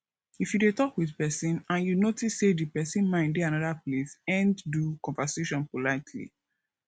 if you dey talk with person and you notice sey di person mind dey anoda place end do conversation politely